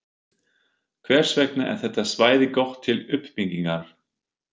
Hvers vegna er þetta svæði gott til uppbyggingar?